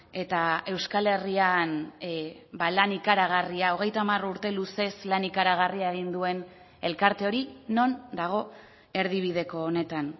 eta euskal herrian lan ikaragarria hogeita hamar urte luzez lan ikaragarria egin duen elkarte hori non dago erdibideko honetan